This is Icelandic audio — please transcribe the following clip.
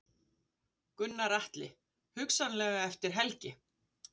Gunnar Atli: Hugsanlega eftir helgi?